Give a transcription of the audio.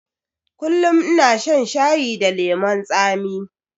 Kullum ina shan shayi da lemon tsami